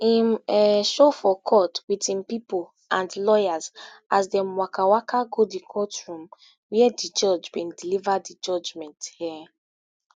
im um show for court wit im pipo and lawyers as dem waka waka go di courtroom wia di judge bin deliver di judgment um